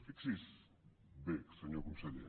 fixi’s bé senyor conseller